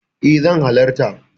E zan halarta.